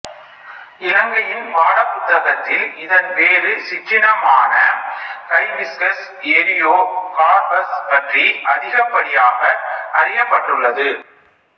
இலங்கையின் பாடபுத்தகத்தில் இதன் வேறு சிற்றினமான ஹைபிஸ்கஸ் எரியோ கார்ப்பஸ் பற்றி அதிகப்படியாக அறியப்பட்டுள்ளது